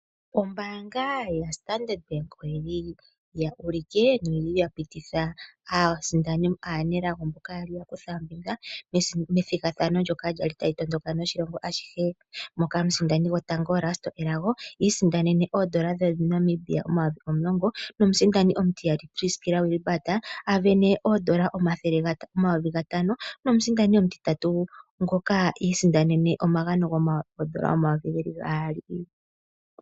Ombaanga yaStandard Bank oyili ya ulike noya pititha aanelago mboka ya li ya kutha ombinga methigathano ndoka lyali tali tondoka ashihe, moka omusindani gwotango Risto Elago, iisindanene oondola dhaNamibia omayovi omulongo, omusindani omutiyali Priskila Wilbard iisindanene N$ 5000. 00 nomusindani omutitatu ngoka iisindanene omagano goondola N$ 2000.00